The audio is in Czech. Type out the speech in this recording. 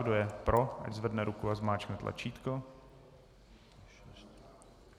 Kdo je pro, ať zvedne ruku a zmáčkne tlačítko.